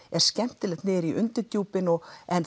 er skemmtilegt niður í undirdjúpin en